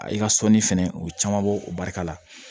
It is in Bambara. A i ka sɔnni fɛnɛ u be caman bɔ o barika la